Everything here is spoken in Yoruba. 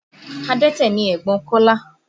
Adẹ́tẹ̀ ni ẹ̀gbọ́n Kọ́lá